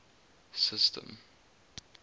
system